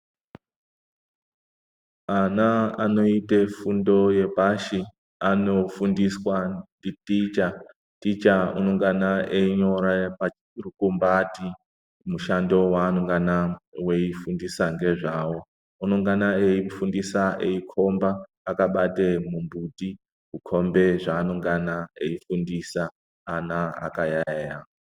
Ana anoite fundo yepashi anofundiswa nditicha. Ticha anongana einyora parukumbati mushando weanongana weifundisa ngezvawo. Unongana eifundisa eikhomba akabate mumbuti eikhomba zveanongana eifundisa, ana akayaeya.